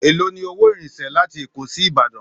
Èló ni owó ìrìnsẹ̀ láti Èkó sí Ìbàdàn?